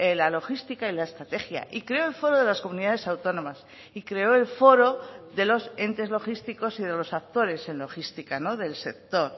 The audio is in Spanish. la logística y la estrategia y creó el foro de las comunidades autónomas y creó el foro de los entes logísticos y de los actores en logística del sector